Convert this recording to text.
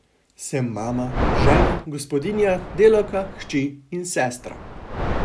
Sem mama, žena, gospodinja, delavka, hči in sestra.